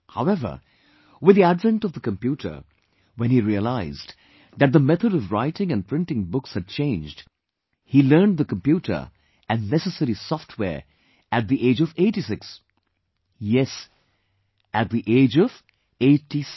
However, with the advent of the computer, when he realized that the method of writing and printing books had changed, he learned the computer and necessary software at the age of 86... yes, at the age of eightysix